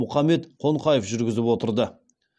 мұхаммед қонқаев жүргізіп отырды